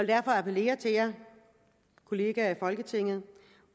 derfor appellere til jer kollegaer i folketinget